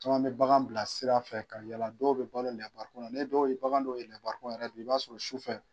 Caman bɛ bagan bila sirafɛ ka yala dɔw bɛ balo lɛbarikon na n'i ye dɔw ye bagan dɔw ye lɛbarikon na yɛrɛ bi i b'a sɔrɔ sufɛ